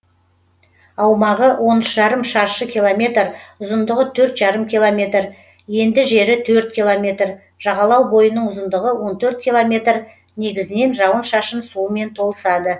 аумағы он үш жарым шаршы километр ұзындығы төрт жарым километр енді жері төрт километр жағалау бойының ұзындығы он төрт километр негізінен жауын шашын суымен толысады